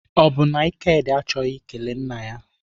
Ọ bụ na Ikedi achọghị ikele nna ya?